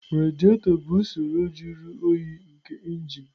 Radiator bụ usoro jụrụ oyi nke injin.